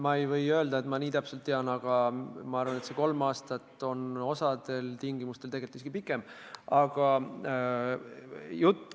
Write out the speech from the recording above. Ma ei saa kinnitada, et ma seda täpselt tean, aga ma arvan, et teatud tingimustel on see aeg tegelikult isegi pikem kui kolm aastat.